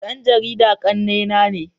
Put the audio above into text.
Dan jarida kannena ne.